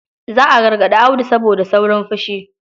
Za a gargarɗi Audu saboda saurin fushi.